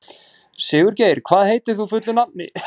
Sigurgeir, hvað heitir þú fullu nafni?